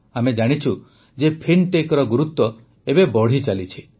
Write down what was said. ଆମେ ଜାଣିଛୁ ଯେ ଫିନ୍ଟେକର ଗୁରୁତ୍ୱ ଏବେ ବଢ଼ି ଚାଲିଛି